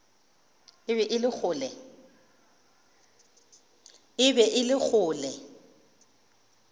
e be e le kgole